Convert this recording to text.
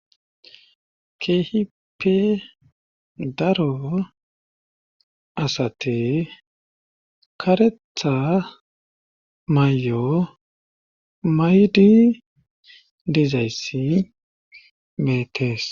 ke'hippe daro asati karethth mayo mahidi diizayssi betees